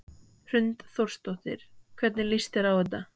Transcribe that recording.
Hrund Þórsdóttir: Hvernig líst þér á þetta?